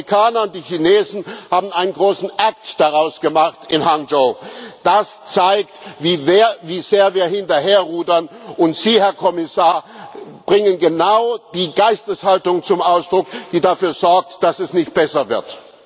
Die Amerikaner und die Chinesen haben einen großen act daraus gemacht in Hangzhou. Das zeigt, wie sehr wir hinterherrudern, und Sie, Herr Kommissar, bringen genau die Geisteshaltung zum Ausdruck, die dafür sorgt, dass es nicht besser wird.